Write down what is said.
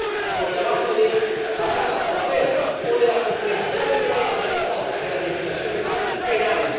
sobre la base del cruce de las fronteras o de la complejidad y heterogeneidad de las legislaciones penales.